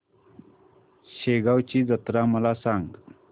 शेगांवची जत्रा मला सांग